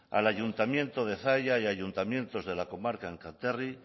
al ayuntamiento de zalla y ayuntamientos de la comarca enkarterri